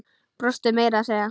Brostu meira að segja.